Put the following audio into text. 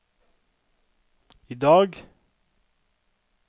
idag